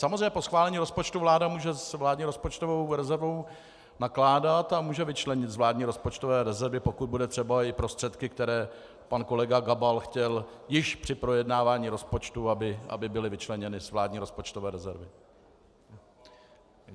Samozřejmě po schválení rozpočtu vláda může s vládní rozpočtovou rezervou nakládat a může vyčlenit z vládní rozpočtové rezervy, pokud bude třeba, i prostředky, které pan kolega Gabal chtěl již při projednávání rozpočtu, aby byly vyčleněny z vládní rozpočtové rezervy.